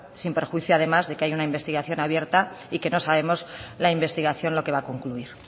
sin perjuicio además de que hay una investigación abierta y que no sabemos la investigación lo que va a concluir